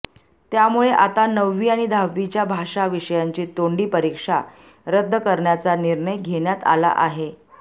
त्यामुळे आता नववी आणि दहावीच्या भाषा विषयाची तोंडी परिक्षा रद्द करण्याचा निर्णय घेण्यात आला आहे